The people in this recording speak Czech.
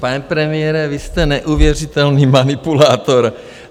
Pane premiére, vy jste neuvěřitelný manipulátor.